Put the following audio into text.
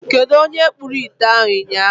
Kedụ onye kpụrụ ite ahụ ụnyaahụ.